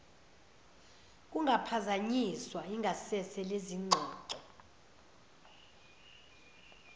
kungaphazanyiswa ingasese lezingxoxo